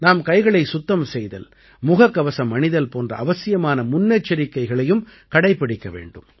நாம் கைகளைச் சுத்தம் செய்தல் முகக்கவசம் அணிதல் போன்ற அவசியமான முன்னெச்சரிக்கைகளையும் கடைப்பிடிக்க வேண்டும்